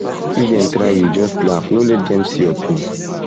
if dem try you just laugh no let dem see your pain